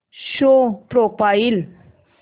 show profile